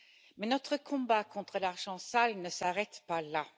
Mais notre combat contre l'argent sale ne s'arrête pas là.